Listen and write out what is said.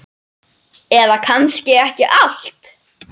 Eða kannski ekki allt.